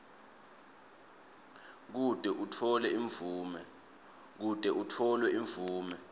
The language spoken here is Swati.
kute utfole imvume